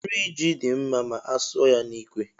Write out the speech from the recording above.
Nri ji dị mma ma a suọ ya n'ikwe